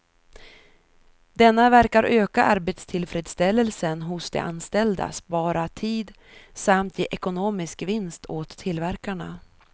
Denna verkar öka arbetstillfredsställelsen hos de anställda, spara tid samt ge ekonomisk vinst åt tillverkarna.